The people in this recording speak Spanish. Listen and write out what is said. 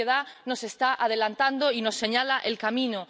La sociedad nos está adelantando y nos señala el camino.